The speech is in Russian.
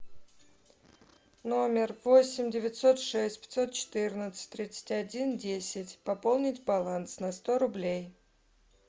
номер восемь девятьсот шесть пятьсот четырнадцать тридцать один десять пополнить баланс на сто рублей